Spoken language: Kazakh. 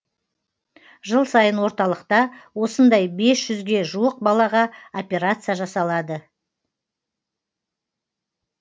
жыл сайын орталықта осындай бес жүзге жуық балаға операция жасалады